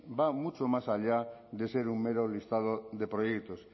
va mucho más allá de ser un mero listado de proyectos